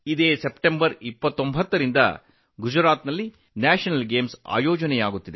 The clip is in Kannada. ಸೆಪ್ಟೆಂಬರ್ 29 ರಿಂದ ಗುಜರಾತ್ನಲ್ಲಿ ರಾಷ್ಟ್ರೀಯ ಕ್ರೀಡಾಕೂಟವನ್ನು ಆಯೋಜಿಸಲಾಗಿದೆ